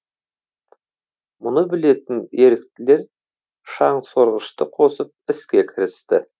мұны білетін еріктілер шаңсорғышты қосып іске кірісті